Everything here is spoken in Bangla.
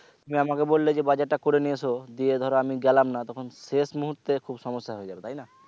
তুমি আমাকে বললে যে বাজারটা করে নিয়ে এসো দিয়ে ধরো আমি গেলাম না তখন শেষ মুহূর্তে খুব সমস্যা হয়ে যাবে তাই না?